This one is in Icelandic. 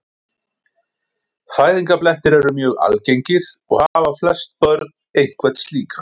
Fæðingarblettir eru mjög algengir og hafa flest börn einhvern slíkan.